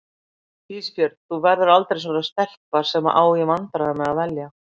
Ísbjörg þú verður aldrei svona stelpa sem á í vandræðum með að velja.